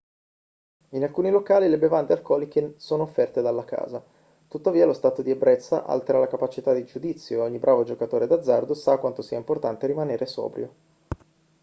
in alcuni locali le bevande alcoliche sono offerte dalla casa tuttavia lo stato di ebbrezza altera la capacità di giudizio e ogni bravo giocatore d'azzardo sa quanto sia importante rimanere sobrio